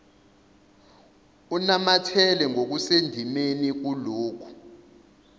unamathela ngokusendimeni kulokho